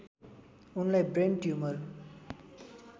उनलाई brain tumour